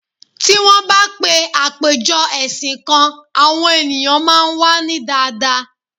Ti won ba pè apeje ẹsìn kan, àwọn ènìyàn máa n wa ni daadaa